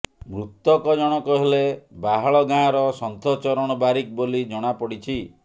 ମୃତକ ଜଣକ ହେଲେ ବାହାଳ ଗାଁର ସନ୍ଥଚରଣ ବାରିକ ବୋଲି ଜଣାପଡିଛି